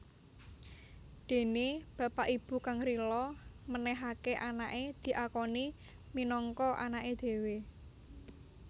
Dene bapak ibu kang rila menehake anake diakoni minangka anake dhewe